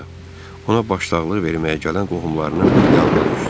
Ona başsağlığı verməyə gələn qohumlarının yanına düşdü.